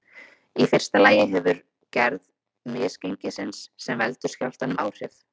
Í fyrsta lagi hefur gerð misgengisins sem veldur skjálftanum áhrif.